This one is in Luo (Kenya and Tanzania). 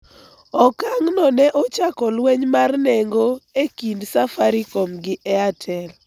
Okang' no ne ochako lweny mar nengo e kind Safaricom gi Airtel